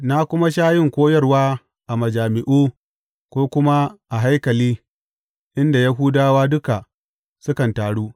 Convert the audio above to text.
Na kuma sha yin koyarwa a majami’u ko kuma a haikali inda Yahudawa duka sukan taru.